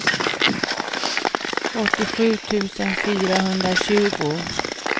åttiosju tusen fyrahundratjugo